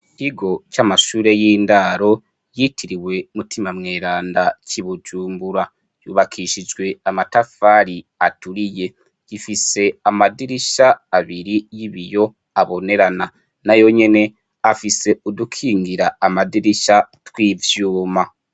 IKigo c'amashure y'indaro yitiriwe umutima mweranda c'i bujumbura, yubakishijwe amatafari aturiye, gifise amadirisha abiri y'ibiyo abonerana na yo nyene afise udukingira amadirisha tw'ivyuma.